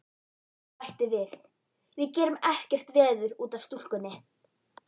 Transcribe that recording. Og bætti við: Við gerum ekkert veður út af stúlkunni.